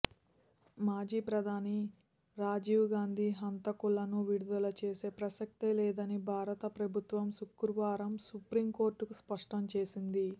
మాజీ ప్రధాని రాజీవ్ గాంధీ హంతకులను విడుదలచేసే ప్రసక్తే లేదని భారత ప్రభుత్వం శుక్రవారం సుప్రీంకోర్టుకు స్ఫష్టం చేసింది